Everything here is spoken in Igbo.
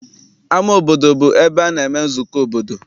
Ama obodo bụ ebe a na-eme nzukọ obodo.